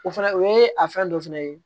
O fɛnɛ o ye a fɛn dɔ fɛnɛ ye